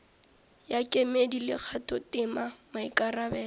ya kemedi le kgathotema maikarabelo